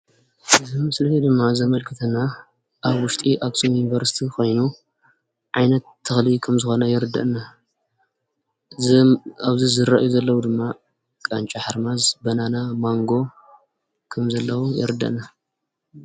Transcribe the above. እዚ ምስሊ እዙይ ድማ ዘመላኽተና ኣብ ውሽጢ ኣኽሱም ዩኒቨርስቲ ኾይኑ ዓይነት ተኽሊ ከም ዝኾነ የርደአና ኣብዚ ዝርአዩ ዘለው ድማ ቃንጫ ሓርማዝ፣ በናና ፣ማንጎ ከሞ ዘለው የርደአና።